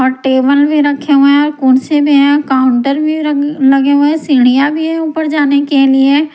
और टेबल भी रखे हुए है कुर्सी भी है काउंटर भी लगे हुए हैसिडिया भी है ऊपर जाने के लिए।